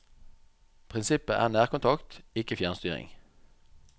Prinsippet er nærkontakt, ikke fjernstyring.